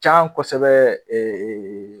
Ca kosɛbɛ